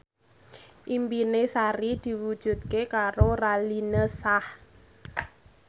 impine Sari diwujudke karo Raline Shah